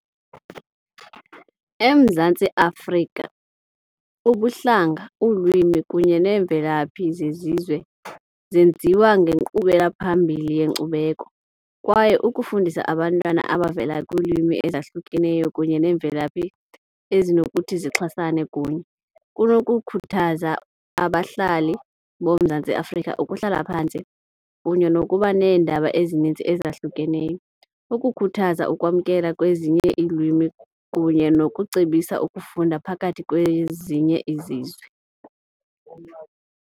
EMzantsi Afrika ubuhlanga, ulwimi kunye neemvelaphi zezizwe zenziwa ngenkqubela phambili yenkcubeko. Kwaye ukufundisa abantwana abavela kwiilwimi ezahlukeneyo kunye neemvelaphi ezinokuthi zixhasane kunye kunokukhuthaza abahlali boMzantsi Afrika ukuhlala phantsi kunye nokuba neendaba ezinintsi ezahlukeneyo, ukukhuthaza ukwamkela kwezinye iilwimi kunye nokucebisa ukufunda phakathi kwezinye izizwe.